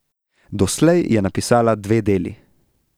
Doslej je napisala dve deli.